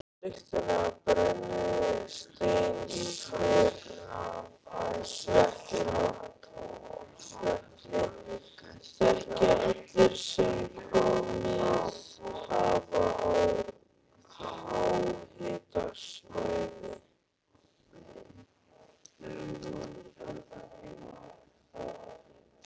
Lyktina af brennisteinsvetni þekkja allir sem komið hafa á háhitasvæði.